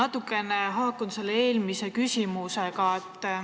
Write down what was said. Minu küsimus natuke haakub eelmise küsimusega.